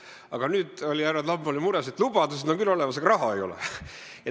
Aga nüüd oli härra Demjanov mures, et lubadused on küll olemas, aga raha ei ole.